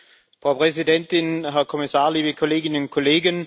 Frau Präsidentin, Herr Kommissar, liebe Kolleginnen und Kollegen.